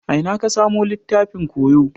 A ina ka samu littafin koyo?